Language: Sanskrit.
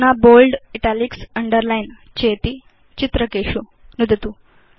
अधुना बोल्ड Italics अण्डरलाइन चेति चित्रकेषु नुदतु